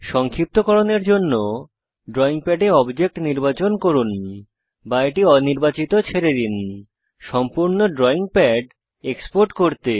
সংক্ষিপ্তকরনের জন্য ড্রয়িং প্যাডে অবজেক্ট নির্বাচন করুন বা এটি অনির্বাচিত ছেড়ে দিন সম্পূর্ণ ড্রয়িং প্যাড এক্সপোর্ট করতে